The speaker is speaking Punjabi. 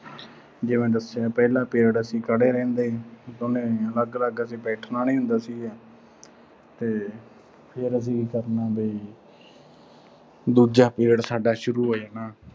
ਜਿਵੇਂ ਦੱਸਿਆ ਪਹਿਲਾ period ਅਸੀਂ ਖੜ੍ਹੇ ਰਹਿੰਦੇ ਅਸੀਂ ਦੋਨੇਂ। ਅਲੱਗ-ਅਲੱਗ ਅਸੀਂ ਬੈਠਣਾ ਨੀਂ ਹੁੰਦਾ ਸੀਗਾ। ਤੇ ਫਿਰ ਅਸੀਂ ਕੀ ਕਰਨਾ ਵੀ ਦੂਜਾ period ਸਾਡਾ ਸ਼ੁਰੂ ਹੋ ਜਾਣਾ